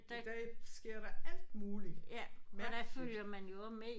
I dag sker der alt mulig mærkeligt